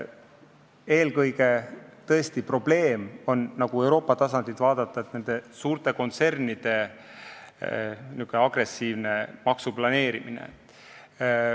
Eelkõige on probleem Euroopa tasandilt vaadates nende suurte kontsernide n-ö agressiivses maksuplaneerimises.